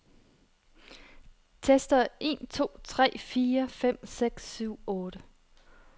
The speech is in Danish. Tester en to tre fire fem seks syv otte.